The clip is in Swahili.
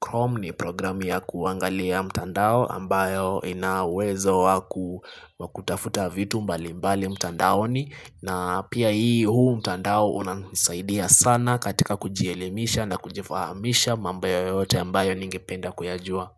Chrome ni program ya kuangalia mtandao ambayo ina uwezo waku wakutafuta vitu mbalimbali mtandaoni. Na pia hii huu mtandao unasaidia sana katika kujielimisha na kujifahamisha mambo yoyote ambayo ningependa kuyajua.